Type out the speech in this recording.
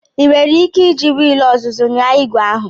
Ị nwere ike iji wiil ọzụzụ nyaa igwe ahu?